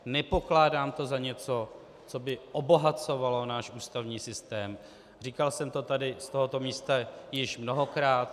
Nepokládám to za něco, co by obohacovalo náš ústavní systém, říkal jsem to tady z tohoto místa již mnohokrát.